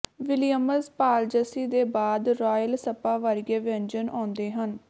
Williams ਪਾਲਜ਼ਸੀ ਦੇ ਬਾਅਦ ਰਾਇਲ ਸਪਾ ਵਰਗੇ ਵਿਅੰਜਨ ਆਉਂਦੇ ਹਨ